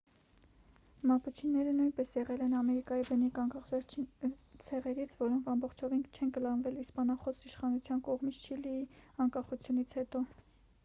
մապուչիները նույնպես եղել են ամերիկայի բնիկ անկախ վերջին ցեղերից որոնք ամբողջովին չեն կլանվել իսպանախոս իշխանության կողմից չիլիի անկախությունից հետո